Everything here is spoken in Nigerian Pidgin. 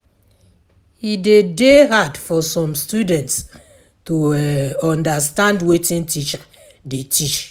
E de dey hard for some students to understand wetin teacher de teach